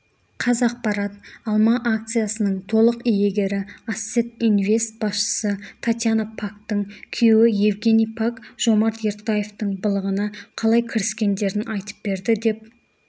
қазақпарат алма акциясының толық иегері ассет инвест басшысы татьяна пактың күйеуі евгений пак жомарт ертаевтың былығына қалай кіріскендерін айтып берді деп